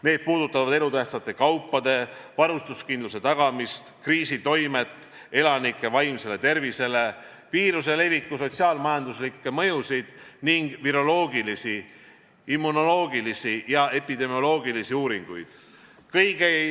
Need puudutavad elutähtsate kaupade varustuskindluse tagamist, kriisi toimet elanike vaimsele tervisele, viiruse leviku sotsiaal-majanduslikke mõjusid ning viroloogilisi, immunoloogilisi ja epidemioloogilisi uuringuid.